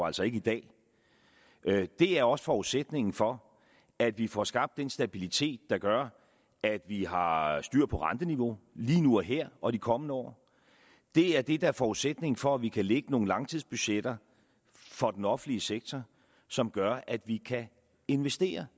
altså ikke i dag er også forudsætningen for at vi får skabt den stabilitet der gør at vi har har styr på renteniveauet lige nu og her og i de kommende år det er det der er forudsætningen for at vi kan lægge nogle langtidsbudgetter for den offentlige sektor som gør at vi kan investere